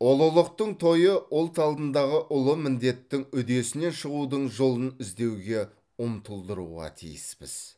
ұлылықтың тойы ұлт алдындағы ұлы міндеттің үдесінен шығудың жолын іздеуге ұмтылдыруға тиіспіз